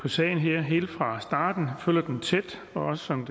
på sagen her helt fra starten og følger den tæt og også som